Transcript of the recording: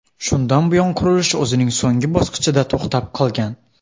Shundan buyon qurilish o‘zining so‘nggi bosqichida to‘xtab qolgan.